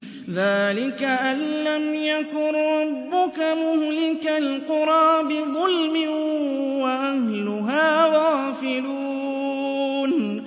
ذَٰلِكَ أَن لَّمْ يَكُن رَّبُّكَ مُهْلِكَ الْقُرَىٰ بِظُلْمٍ وَأَهْلُهَا غَافِلُونَ